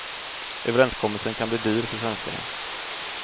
Överenskommelsen kan bli dyr för svenskarna.